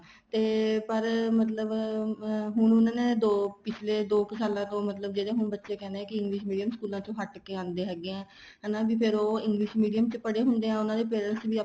ਤੇ ਪਰ ਮਤਲਬ ਅਹ ਹੁਣ ਉਹਨਾ ਨੇ ਦੋ ਪਿੱਛਲੇ ਦੋ ਕ਼ ਸਾਲਾ ਤੋਂ ਮਤਲਬ ਜਿਹੜੇ ਹੁਣ ਬੱਚੇ ਕਹਿੰਦੇ ਏ English Medium ਸਕੂਲਾਂ ਚੋ ਹੱਟਕੇ ਆਂਦੇ ਹੈਗੇ ਏ ਹੈਨਾ ਫ਼ੇਰ ਉਹ English Medium ਚ ਪੜ੍ਹੇ ਹੁੰਦੇ ਏ ਉਹਨਾ ਦੇ parents ਵੀ ਆਪਾਂ